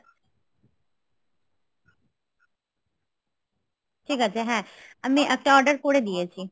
আচ্ছা ঠিক হ্যা আমি একটা order করে দিয়েছি